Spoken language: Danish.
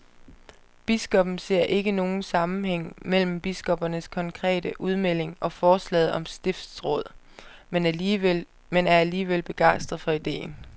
Biskoppen ser ikke nogen sammenhæng mellem biskoppernes konkrete udmelding og forslaget om stiftsråd, men er alligevel begejstret for ideen.